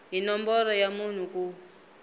hi nomboro ya munhu ku